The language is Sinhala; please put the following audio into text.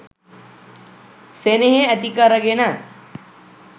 සෙනෙහෙ ඇති කරගෙන